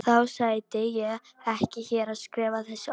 Þá sæti ég ekki hér og skrifaði þessi orð.